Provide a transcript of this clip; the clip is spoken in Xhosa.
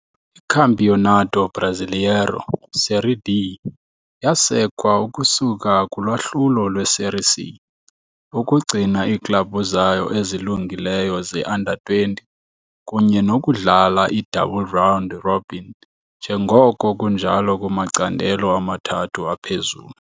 ICampeonato Brasileiro Série D yasekwa ukusuka kulwahlulo lwe-Série C, ukugcina iiklabhu zayo ezilungileyo ze-under 20 kunye nokudlala i-double round robin njengoko kunjalo kumacandelo amathathu aphezulu.